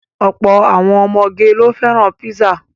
Ọ̀pọ̀ àwọn ọmọge ló fẹ́ràn písà.